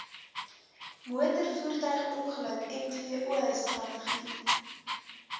motorvoertuigongeluk mvo strategie